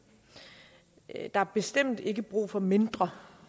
der er bestemt ikke brug for mindre